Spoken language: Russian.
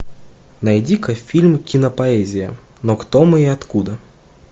найди ка фильм кинопоэзия но кто мы и откуда